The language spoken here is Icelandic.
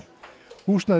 húsnæðið